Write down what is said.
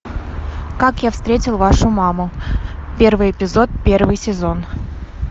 как я встретил вашу маму первый эпизод первый сезон